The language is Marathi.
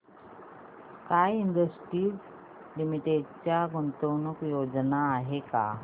स्काय इंडस्ट्रीज लिमिटेड च्या गुंतवणूक योजना आहेत का